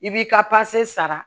I b'i ka pase sara